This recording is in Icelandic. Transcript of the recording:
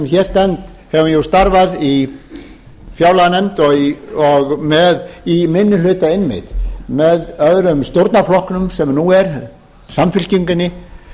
hér stend hef starfað í fjárlaganefnd og í minni hluta einmitt með öðrum stjórnarflokknum sem nú er samfylkingunni